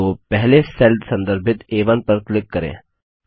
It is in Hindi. तो पहले सेल संदर्भित आ1 पर क्लिक करें